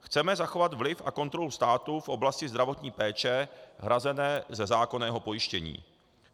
Chceme zachovat vliv a kontrolu státu v oblasti zdravotní péče hrazené ze zákonného pojištění.